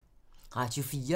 Radio 4